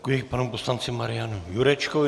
Děkuji panu poslanci Marianu Jurečkovi.